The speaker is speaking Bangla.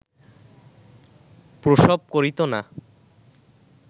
প্রসব করিত না